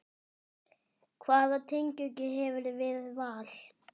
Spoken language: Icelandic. Hvaða tengingu hefurðu við Val?